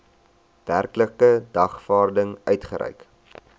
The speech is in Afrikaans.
werklike dagvaarding uitgereik